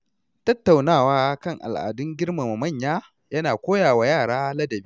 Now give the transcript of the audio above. Tattaunawa kan al’adun girmama manya ya na koya wa yara ladabi.